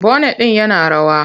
Bonet din yana rawa.